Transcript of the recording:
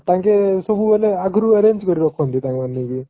ତାଙ୍କେ ସବୁବେଳେ ଆଗରୁ arrange କରିକି ରଖନ୍ତି